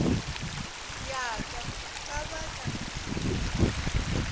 ya ka ka ba ka